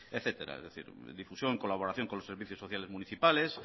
etcétera es decir difusión colaboración con los servicios sociales municipales